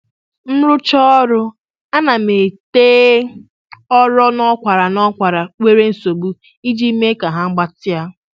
M rụchaa ọrụ, ana m ete ori n'akwara n'akwara nwere nsogbu iji mee ka ha gbatịa